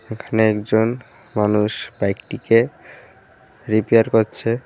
এখানে একজন মানুষ বাইকটিকে রিপেয়ার করছে.